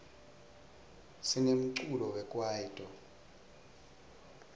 sinemculo wekwaito